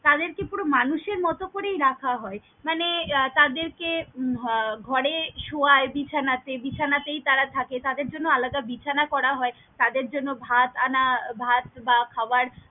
তাদের কে পুরো মানুষ এর মতো করেই রাখা হয়, মানে তাদের কে আহ উম ঘরে শুয়াই বিছানাতে বিছানাতেই তারা থাকে তাদের জন্য আলাদা বিছানা করা হয়, তাদের জন্য ভাত আনা আহ ভাত বা খাবার।